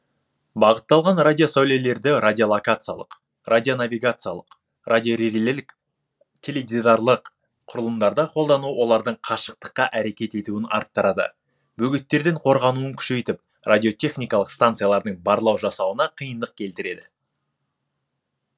бағытталған радиосәулелерді радиолокациялық радионавигациялық радиорелелік теледидарлық құрылымдарда қолдану олардың қашықтыққа әрекет етуін арттырады бөгеттерден қорғануын күшейтіп радиотехникалық станциялардың барлау жасауына қиындық келтіреді